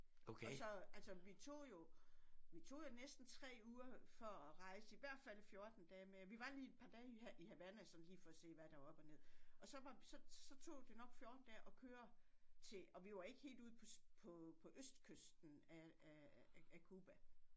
Og så altså vi tog jo vi tog jo næsten 3 uger for at rejse i hvert fald 14 dage med vi var lige et par dage i Havana sådan lige for at se hvad der var op og ned og så var så tog det nok 14 dage at køre til og vi var ikke helt ude på på østkysten af af af Cuba